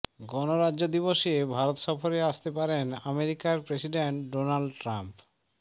গণরাজ্য দিবসে ভারত সফরে আসতে পারেন আমেরিকার প্ৰেসিডেন্ট ডোনাল্ড ট্ৰাম্প